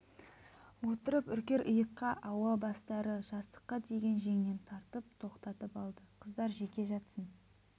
отырып үркер иыққа ауа бастары жастыққа тиген жеңнен тартып тоқтатып алды қыздар жеке жатсын